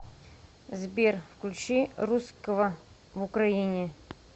сбер включи русского в украине